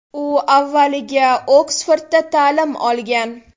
U avvaliga Oksfordda ta’lim olgan.